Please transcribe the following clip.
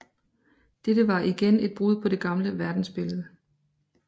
Dette var igen et brud på det gamle verdensbillede